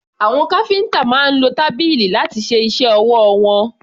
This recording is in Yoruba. Àwọn káfíńtà máa ń lo tábìlì láti ṣe iṣẹ́ ọwọ́ wọn.